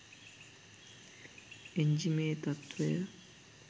එන්ජි‍මේ තත්වය